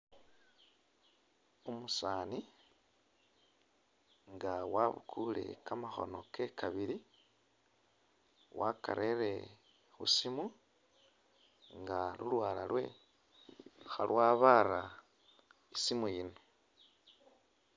Umusani inga wabukule kamakhono kewe kabili wakarele khusimu nga ulwala lwe khalwabara isimu yino .